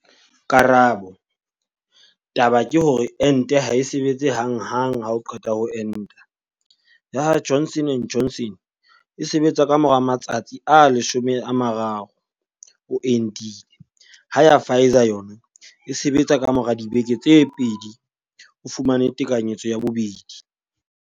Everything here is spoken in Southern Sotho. Karabo. Taba ke hore ente ha e sebetse hang hang ha o qeta ho enta, ya ha Johnson and Johnson e sebetsa ka mora matsatsi a 30 o entile, ha ya ha Pfizer yona e sebetsa ka mora dibeke tse pedi o fumane tekanyetso ya bobedi.